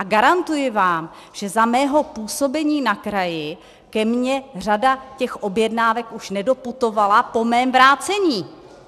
A garantuji vám, že za mého působení na kraji ke mně řada těch objednávek už nedoputovala po mém vrácení.